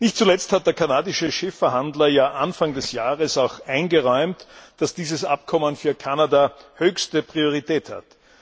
Nicht zuletzt hat der kanadische Chefverhandler Anfang des Jahres eingeräumt, dass dieses Abkommen für Kanada höchste Priorität hat.